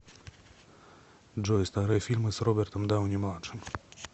джой старые фильмы с робертом дауни младшим